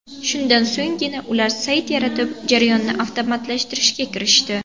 Shundan so‘nggina ular sayt yaratib, jarayonni avtomatlashtirishga kirishdi.